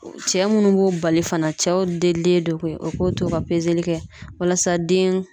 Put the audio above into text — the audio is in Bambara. Cɛ munnu b'o bali fana, cɛw delilen don koyi u k'u to ka kɛ walasa den